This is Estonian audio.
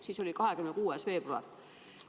" Siis oli 26. veebruar.